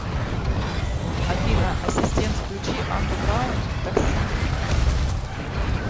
афина ассистент включи андеграунд такси